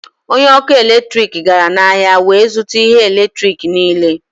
Onye ọkụ eletrik gara n'ahịa wee zụta ihe eletrik niile